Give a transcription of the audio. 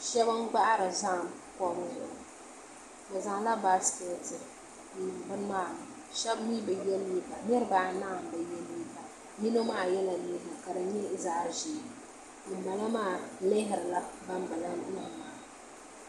Shab n gbahari zaham kom ni bi zaŋla baasikɛti n piri bini maa shab mii bi yɛ liiga niraba anahi n bi yɛ liiga yino maa yɛla liiga ka di nyɛ zaɣ ʒiɛ ŋunbala maa lihirila ban bala maa